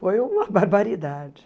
Foi uma barbaridade.